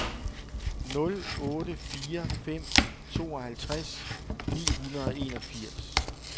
nul otte fire fem tooghalvtreds ni hundrede og enogfirs